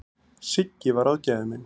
Siggi var ráðgjafinn minn.